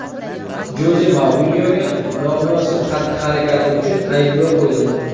Joze Mourinyoga nomunosib xatti-harakati uchun ayblov qo‘yildi.